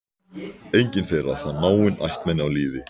Enginn þeirra fann náin ættmenni á lífi.